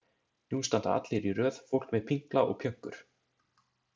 Nú standa allir í röð, fólk með pinkla og pjönkur.